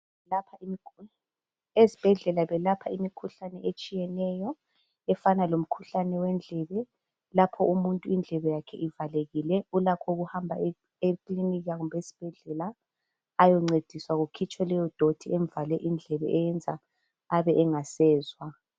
Ezibhedlela belapha umkhuhlane etshiyeneyo efana lomkhuhlane wendlebe. Lapho umuntu indlebe yakhe ivalekile ulakho ukuhamba ekilinika kumbe esibhedlela ayoncediswa kukhitshwe leyo doti emvale indlebe eyenza abe engasezwa